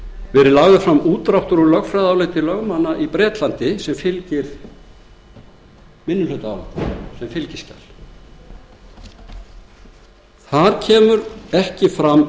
verið fram útdráttur úr lögfræðiáliti lögmanna í bretlandi sem fylgir minnihlutaálitinu sem fylgiskjal þar kemur ekki fram